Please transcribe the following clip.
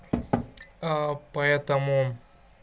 поэтому